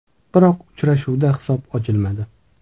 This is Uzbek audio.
Biroq uchrashuvda hisob ochilmadi.